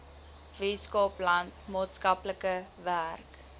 weskaapland maatskaplike werk